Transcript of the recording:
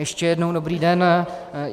Ještě jednou dobrý den.